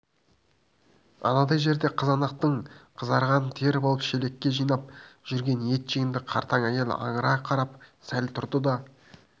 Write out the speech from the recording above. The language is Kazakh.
анадай жерде қызанақтың қызарғанын теріп алып шелекке жинап жүрген етжеңді қартаң әйел аңыра қарап сәл тұрды да